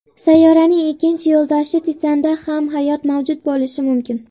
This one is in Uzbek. Sayyoraning ikkinchi yo‘ldoshi Titanda ham hayot mavjud bo‘lishi mumkin.